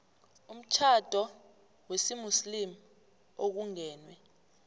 umtjhado wesimuslimu okungenwe